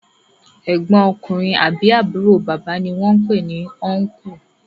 egbon ọkùnrin àbí àbúrò bàbá ní wón pè ni "Uncle"